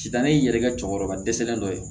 Sida ni n yɛrɛ ka cɛkɔrɔba dɛsɛlen dɔ ye